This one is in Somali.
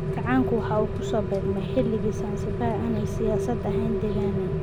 Kacaanku waxa uu ku soo beegmay xilli Sansibaar aanay siyaasad ahaan degganayn.